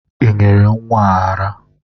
Ị nyere nwa ara ara.